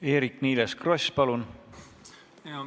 Eerik-Niiles Kross, palun!